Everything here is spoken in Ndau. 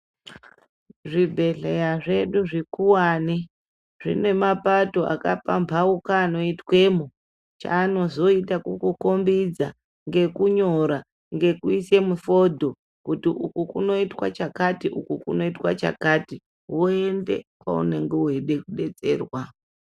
Zvibhedhleya zvedu zvikuvani zvine mapato akapambauka anoitwemo. Chaanozoita kukukombidza ngekunyora ngekuisa mifondo. Kuti ukukunoite chakati ukukunoitwe chakati voende kwaunenge veide kubetserwa.